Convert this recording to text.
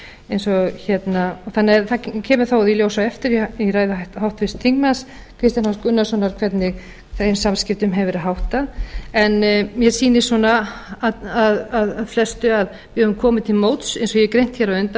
eins og það kemur þá í ljós á eftir í ræðu háttvirts þingmanns kristins h gunnarssonar hvernig þeim samskiptum hefur verið háttað en mér sýnist af flestu að við höfum komið til móts eins og ég hef greint hér á undan